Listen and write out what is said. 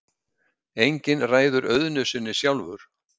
Enginn ræður auðnu sinni sjálfur.